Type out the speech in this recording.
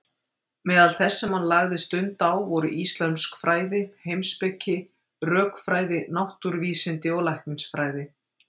Meðal þess sem hann lagði stund á voru íslömsk fræði, heimspeki, rökfræði, náttúruvísindi og læknisfræði.